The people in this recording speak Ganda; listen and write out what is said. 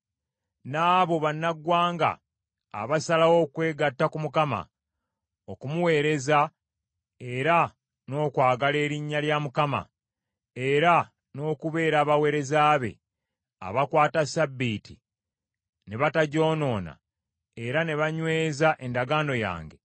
N’abo bannaggwanga abasalawo okwegatta ku Mukama , okumuweereza era n’okwagala erinnya lya Mukama era n’okubeera abaweereza be, abakwata ssabbiiti ne batagyonoona era ne banyweza endagaano yange,